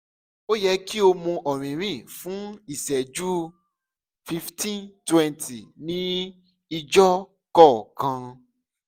o yẹ ki o mu ọrinrin fun iṣẹju 15 - 20 ni ijoko kan